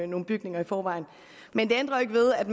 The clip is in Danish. nogle bygninger i forvejen men det ændrer ikke ved at